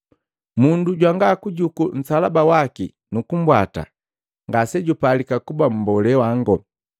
Mundu jwanga kujuku nsalaba waki nukumbwata, ngasejupalika kuba mbolee wango.